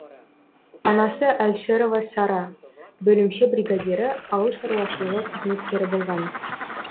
анасы әлшерова сара бөлімше бригадирі ауыл шаруашылығы қызметкері болған